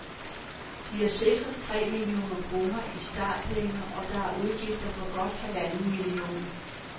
De er sikret tre millioner kroner i startpenge, og der er udgifter for godt halvanden million.